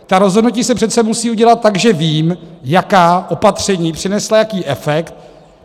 Ta rozhodnutí se přece musí udělat tak, že vím, jaká opatření přinesla jaký efekt.